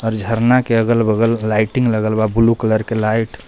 और झरना के अगल बगल लाइटिंग लगल बा ब्लू कलर के लाइट --